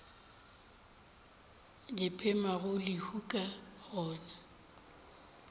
di phemago lehu ka gona